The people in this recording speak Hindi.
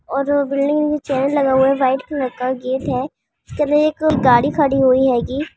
और बिल्डिंग मे चैन लगा हुआ है व्हाइट कलर का गेट है उसके अंदर एक गाड़ी खड़ी हुई है गी --